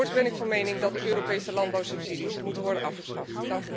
En voorts ben ik van mening dat de Europese landbouwsubsidies moeten worden afgeschaft.